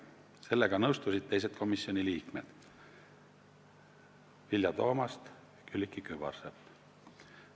Sellega nõustusid komisjoni liikmed Vilja Toomast ja Külliki Kübarsepp.